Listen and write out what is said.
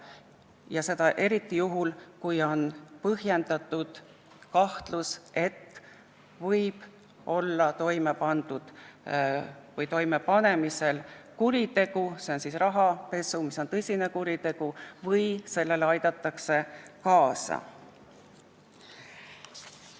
See on vajalik eriti juhul, kui on põhjendatud kahtlus, et võib olla toime pandud või toimepanemisel kuritegu, s.o rahapesu, mis on tõsine kuritegu, või on kahtlus, et sellele aidatakse kaasa.